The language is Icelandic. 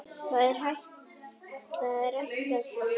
Það er ættað frá Japan.